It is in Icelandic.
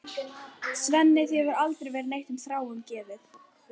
Svenni, þér hefur aldrei verið neitt um Þráin gefið.